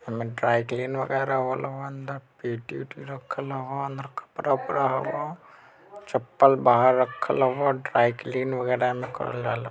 एमे dry clean वगेरा होला अंदर पेटी ओटी रखल हौ अंदर कपड़ा ओपडा हव अंदर। चपल बाहर रखल हौ। एमे ड्राई क्लीनिंग वगेरा ऐमे करल जाल--